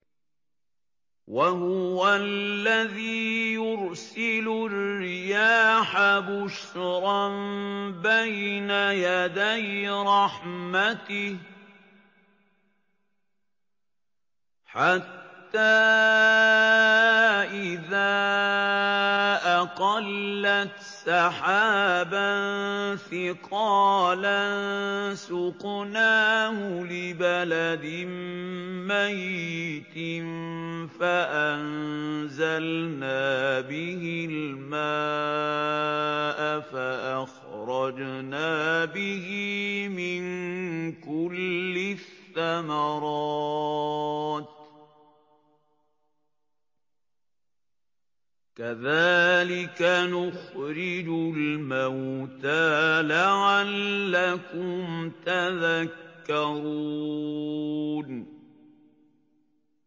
وَهُوَ الَّذِي يُرْسِلُ الرِّيَاحَ بُشْرًا بَيْنَ يَدَيْ رَحْمَتِهِ ۖ حَتَّىٰ إِذَا أَقَلَّتْ سَحَابًا ثِقَالًا سُقْنَاهُ لِبَلَدٍ مَّيِّتٍ فَأَنزَلْنَا بِهِ الْمَاءَ فَأَخْرَجْنَا بِهِ مِن كُلِّ الثَّمَرَاتِ ۚ كَذَٰلِكَ نُخْرِجُ الْمَوْتَىٰ لَعَلَّكُمْ تَذَكَّرُونَ